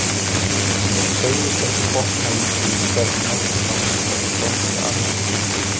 Segðust ekki botna í því, hvernig nokkrum manni gæti dottið annað eins í hug.